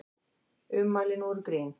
Ummælin voru grín